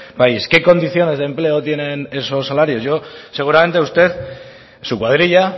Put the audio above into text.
país qué condiciones de empleo tienen esos salarios yo seguramente usted su cuadrilla